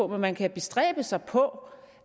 men man kan bestræbe sig på